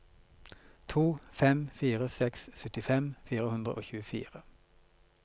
to fem fire seks syttifem fire hundre og tjuefire